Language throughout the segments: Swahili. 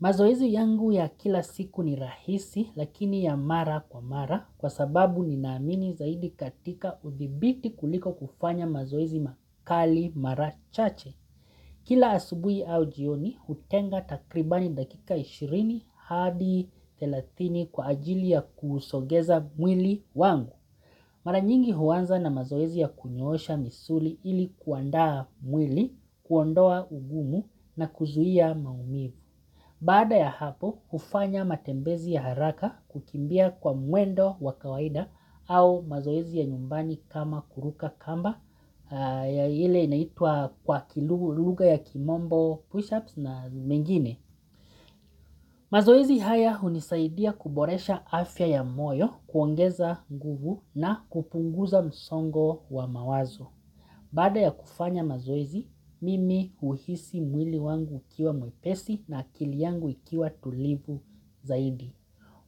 Mazoezi yangu ya kila siku ni rahisi lakini ya mara kwa mara kwa sababu ninaamini zaidi katika udhibiti kuliko kufanya mazoezi makali mara chache. Kila asubuhi au jioni hutenga takribani dakika 20 hadi 30 kwa ajili ya kusogeza mwili wangu. Mara nyingi huanza na mazoezi ya kunyosha misuli ili kuandaa mwili, kuondoa ugumu na kuzuia maumivu. Baada ya hapo, hufanya matembezi ya haraka kukimbia kwa mwendo wa kawaida au mazoezi ya nyumbani kama kuruka kamba ya ile inaitwa kwa lugha ya kimombo push-ups na mengine. Mazoezi haya hunisaidia kuboresha afya ya moyo, kuongeza nguvu na kupunguza msongo wa mawazo. Baada ya kufanya mazoezi, mimi huhisi mwili wangu ukiwa mwepesi na akili yangu ikiwa tulivu zaidi.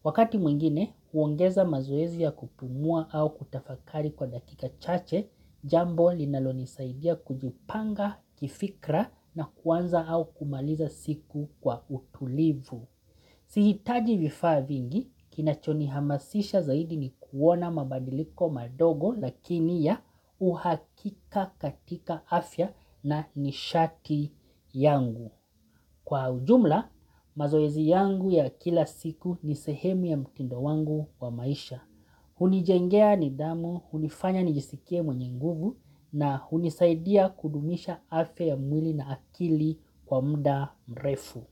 Wakati mwingine huongeza mazoezi ya kupumua au kutafakari kwa dakika chache, jambo linalonisaidia kujipanga kifikra na kuanza au kumaliza siku kwa utulivu. Sihitaji vifaa vingi, kinachonihamasisha zaidi ni kuona mabadiliko madogo lakini ya uhakika katika afya na nishaki yangu. Kwa ujumla, mazoezi yangu ya kila siku ni sehemu ya mtindo wangu wa maisha. Hunijengea nidhamu, hunifanya nijisikie mwenye nguvu, na hunisaidia kudumisha afya ya mwili na akili kwa muda mrefu.